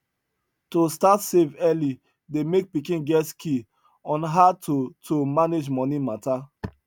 to start save early dey make pikin get skill on how to to manage money matter